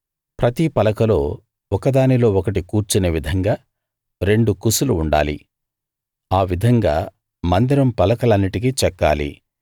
ప్రతి పలకలో ఒకదానిలో ఒకటి కూర్చునే విధంగా రెండు కుసులు ఉండాలి ఆ విధంగా మందిరం పలకలన్నిటికీ చెక్కాలి